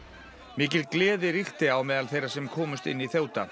mikil gleði ríkti á meðal þeirra sem komust inn í